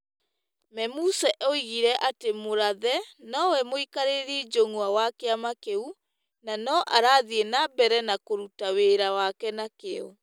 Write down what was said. Memusi oigire atĩ Mũrathe no we mũikarĩri njũng'wa wa kĩama kĩu .Na no arathiĩ na mbere kũruta wĩra wake na kĩyo,